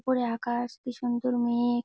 উপরে আকাশ কি সুন্দর মে-এঘ।